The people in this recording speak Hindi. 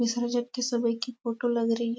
सुबह की फोटो लग रही है ।